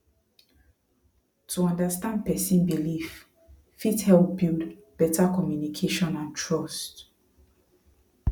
to understand person belief fit help build better communication and trust